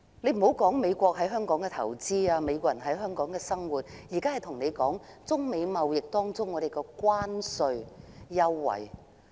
暫且不談美國在香港的投資，或美國人在香港的生活，我現在要說的是港美貿易的港方關稅優惠。